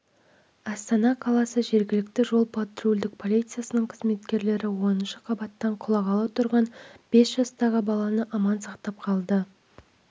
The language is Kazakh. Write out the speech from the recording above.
астана қаласы жергілікті жол-патрульдік полициясының қызметкерлері оныншы қабаттан құлағалы тұрған бес жастағы баланы аман сақтап қалды